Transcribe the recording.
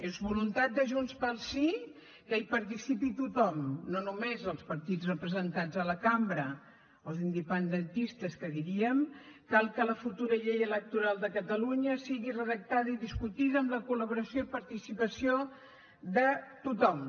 és voluntat de junts pel sí que hi participi tothom no només els partits representats a la cambra els independentistes que diríem cal que la futura llei electoral de catalunya sigui redactada i discutida amb la col·laboració i participació de tothom